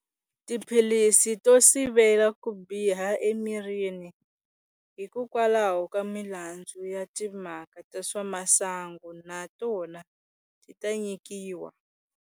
Tiphilisi to sivela ku biha emirini hikokwalaho ka milandzu ya timhaka ta swa masangu na tona ti ta nyikiwa.